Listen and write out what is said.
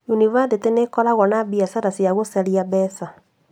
Yunibathĩtĩ nĩikoragwo na biacara cia gũcaria mbeca